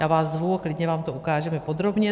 Já vás zvu, klidně vám to ukážeme podrobně.